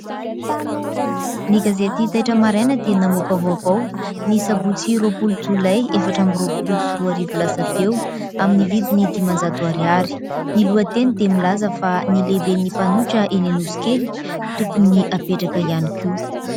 Ny gazety"Taitra maraina" dia namoaka vaovao ny Sabotsy roapolo Jolay, efatra amby roapolo sy roa arivo lasa teo, amin'ny vidiny dimanjato ariary. Ny lohateny dia milaza fa : "Ny lehiben'ny mpanohitra eny Anosikely tokony hapetraka ihany koa !".